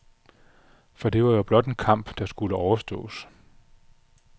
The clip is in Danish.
For det var jo blot en kamp, der skulle overstås.